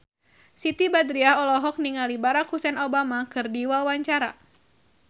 Siti Badriah olohok ningali Barack Hussein Obama keur diwawancara